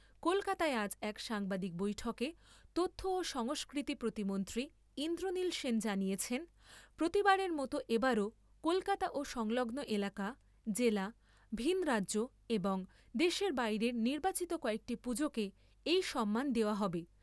কলকাতায় আজ এক সাংবাদিক বৈঠকে তথ্য ও সংস্কৃতি প্রতিমন্ত্রী ইন্দ্রনীল সেন জানিয়েছেন, প্রতিবারের মত এবারও কলকাতা ও সংলগ্ন এলাকা, জেলা, ভিন রাজ্য এবং দেশের বাইরের নির্বাচিত কয়েকটি পুজোকে এই সম্মান দেওয়া হবে।